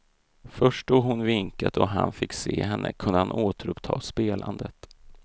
Först då hon vinkat och han fick se henne kunde han återuppta spelandet.